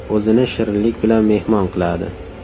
O‘zini shirinlik bilan mehmon qiladi.